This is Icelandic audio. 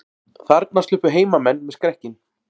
Þarna sluppu heimamenn með skrekkinn